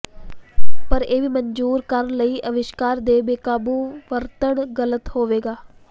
ਪਰ ਇਹ ਵੀ ਮਨਜੂਰ ਕਰਨ ਲਈ ਅਵਿਸ਼ਕਾਰ ਦੇ ਬੇਕਾਬੂ ਵਰਤਣ ਗ਼ਲਤ ਹੋਵੇਗਾ